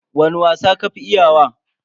Wani wasa ka fi iya wa?